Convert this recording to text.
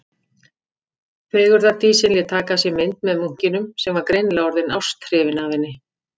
Fegurðardísin lét taka af sér mynd með munkinum, sem var greinilega orðinn ásthrifinn af henni.